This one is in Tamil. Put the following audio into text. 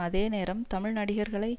அதே நேரம் தமிழ் நடிகர்களை